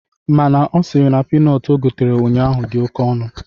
Mana Ọ sịrị na pinọt o gotere ụnyaahụ dị oke ọnụ.